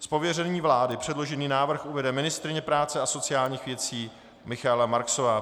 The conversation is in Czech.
Z pověření vlády předložený návrh uvede ministryně práce a sociálních věcí Michaela Marksová.